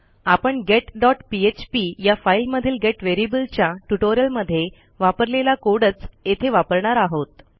आपण getपीएचपी या फाईलमधील गेट व्हेरिएबलच्या ट्युटोरियलमध्ये वापरलेला कोड च येथे वापरणार आहोत